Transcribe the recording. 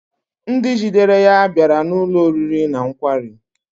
Ndị jidere ya bịara n'ụlọ oriri na nkwari